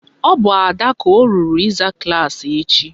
Ọ bụ Ada ka o ruru ịza klaasị echi